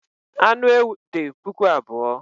Anụ ewu dị puku abụọ